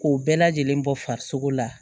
K'o bɛɛ lajɛlen bɔ farisogo la